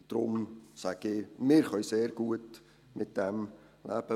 Darum sage ich: Wir können sehr gut mit dem leben.